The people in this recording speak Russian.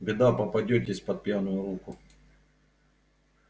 беда попадётесь под пьяную руку